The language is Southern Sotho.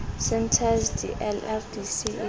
centres di lrdc e le